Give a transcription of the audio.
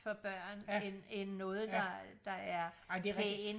for børn end end noget der er der er pænt